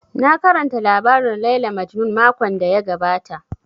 Na karanta labarin Layla Majnun makon da ya gabata